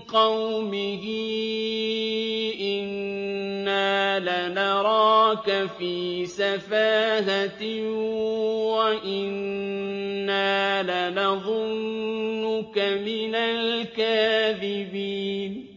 قَوْمِهِ إِنَّا لَنَرَاكَ فِي سَفَاهَةٍ وَإِنَّا لَنَظُنُّكَ مِنَ الْكَاذِبِينَ